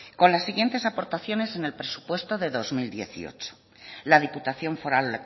con las siguientes aportaciones en el presupuesto de dos mil dieciocho la diputación foral